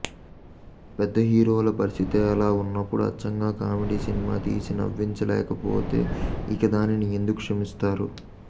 పెద్ద హీరోల పరిస్థితే అలా ఉన్నప్పుడు అచ్చంగా కామెడీ సినిమా తీసి నవ్వించలేకపోతే ఇక దానిని ఎందుకు క్షమిస్తారు